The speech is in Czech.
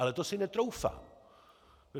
Ale to si netroufám.